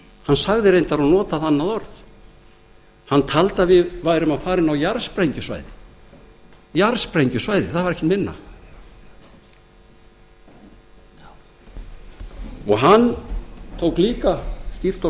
hann sagði reyndar og notaði þannig orð hann taldi að við værum að fara inn á jarðsprengjusvæði það var ekki minna hann tók líka skýrt og